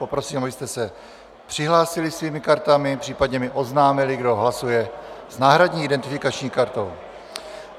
Prosím, abyste se přihlásili svými kartami, případně mi oznámili, kdo hlasuje s náhradní identifikační kartou.